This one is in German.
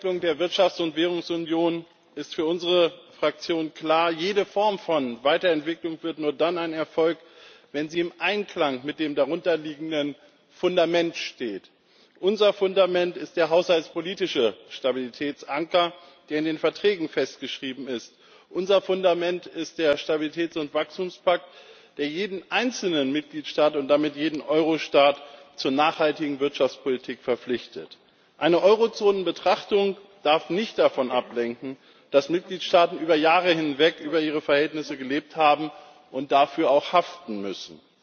Frau Präsidentin, Herr Vizepräsident Dombrovskis! Bei der Weiterwicklung der Wirtschafts und Währungsunion ist für unsere Fraktion klar Jede Form von Weiterentwicklung wird nur dann ein Erfolg, wenn sie im Einklang mit dem darunter liegenden Fundament steht. Unser Fundament ist der haushaltspolitische Stabilitätsanker, der in den Verträgen festgeschrieben ist, unser Fundament ist der Stabilitäts und Wachstumspakt, der jeden einzelnen Mitgliedstaat und damit jeden Euro Staat zur nachhaltigen Wirtschaftspolitik verpflichtet. Eine Eurozonen Betrachtung darf nicht davon ablenken, dass Mitgliedstaaten über Jahre hinweg über ihre Verhältnisse gelebt haben und dafür auch haften müssen.